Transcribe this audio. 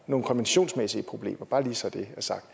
nogle konventionsmæssige problemer bare lige så det er sagt